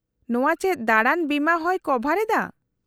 -ᱱᱚᱶᱟ ᱪᱮᱫ ᱫᱟᱬᱟᱱ ᱵᱤᱢᱟ ᱦᱚᱸᱭ ᱠᱚᱵᱷᱟᱨ ᱮᱫᱟ ?